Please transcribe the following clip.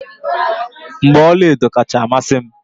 mgbaolu ọla edo kacha amasị m